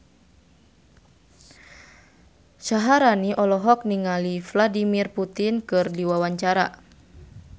Syaharani olohok ningali Vladimir Putin keur diwawancara